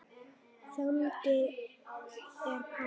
Þannig er pabbi.